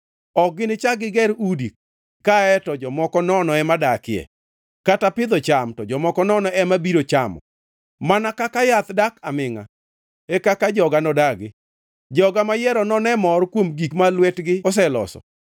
Ok ginichak giger udi kae to jomoko nono ema dakie, kata pidho cham to jomoko nono ema biro chamo. Mana kaka yath dak amingʼa, e kaka joga nodagi, joga mayiero none mor kuom gik ma lwetgi oseloso.